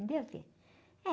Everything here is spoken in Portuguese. Entendeu, filho?